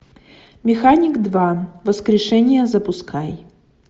механик два воскрешение запускай